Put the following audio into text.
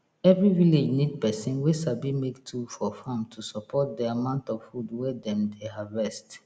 every village need person wey sabi make tool for farm to support the amount of food wey dem dey harvest